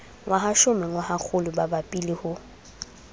ngwahashome ngwahakgolo bapabi le ho